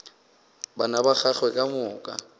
bana ba gagwe ka moka